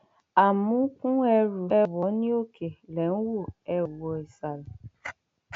amúnkún ẹrù ẹ wọ ọ ní òkè lẹ ń wò ẹ ó wọ ìsàlẹ